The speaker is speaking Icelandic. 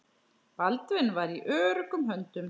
Baldvin var í öruggum höndum.